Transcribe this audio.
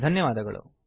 ಧನ್ಯವಾದಗಳು